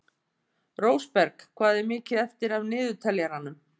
Rósberg, hvað er mikið eftir af niðurteljaranum?